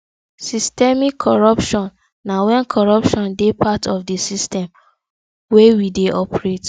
systemic corruption na when corruption dey part of di system wey we dey operate